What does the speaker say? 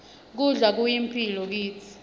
kudla kuyimphilo kitsi